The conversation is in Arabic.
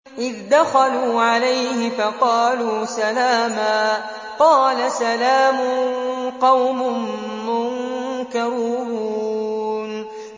إِذْ دَخَلُوا عَلَيْهِ فَقَالُوا سَلَامًا ۖ قَالَ سَلَامٌ قَوْمٌ مُّنكَرُونَ